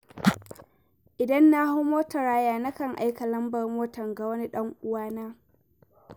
Idan na hau motar haya, nakan aika lambar motar ga wani dan uwana.